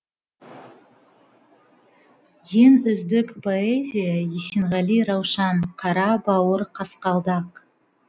ең үздік поэзия есенғали раушан қара бауыр қасқалдақ